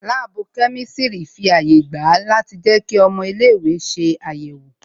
Láàbù kẹ́mísírì fi àyè gba a láti jẹ kí ọmọ ilé ìwé ṣe àyẹ̀wò